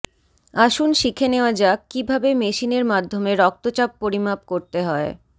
আসুন শিখে নেওয়া যাক কী ভাবে মেশিনের মাধ্যমে রক্তচাপ পরিমাপ করতে হয়